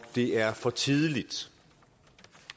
det er for tidligt